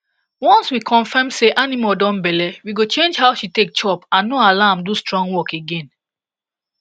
once we confirm say animal don belle we go change how she take chop and no allow am do strong work again